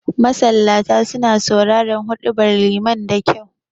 Masallata suna sauraren huɗubar liman da kyau